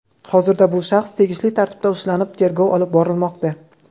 Hozirda bu shaxs tegishli tartibda ushlanib, tergov olib borilmoqda.